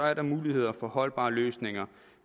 er der muligheder for holdbare løsninger